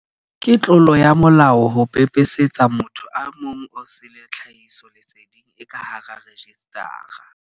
Ke tlolo ya molao ho pepesetsa motho e mong osele tlhahisoleseding e ka hara rejistara.